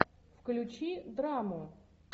включи драму